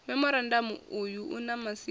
memorandamu uyu u na masiaṱari